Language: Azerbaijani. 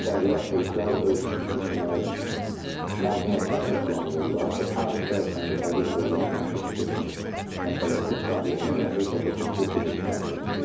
Müştərilər, turistlər öz demək məzuniyyətlərini planlayırlar və tarix dəyişəndə təbii ki, onların artıq getmək məsələsi problem yaradır və bu çox ciddi bir problemdir.